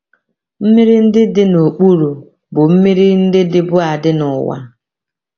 Mmiri ndị dị “ n’okpuru ” bụ mmiri ndị dịbu adị n’ụwa.